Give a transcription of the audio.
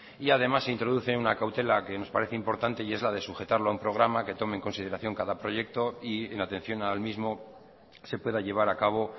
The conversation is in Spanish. y además se introduce una cautela que nos parece importante y es la de sujetarlo a un programa que tome en consideración cada proyecto y en atención al mismo se pueda llevar a cabo